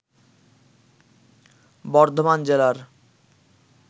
বর্ধমান জেলার